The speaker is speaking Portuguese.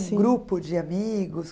grupo de amigos?